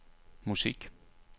musik